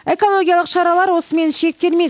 экологиялық шаралар осымен шектелмейді